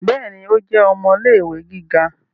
Béèni, o jẹ ọmọ ilé-ìwé gíga